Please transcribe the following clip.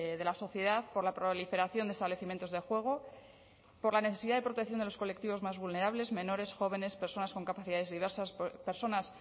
de la sociedad por la proliferación de establecimientos de juego por la necesidad de protección de los colectivos más vulnerables menores jóvenes personas con capacidades diversas personas